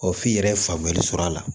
f'i yɛrɛ ye faamuyali sɔrɔ a la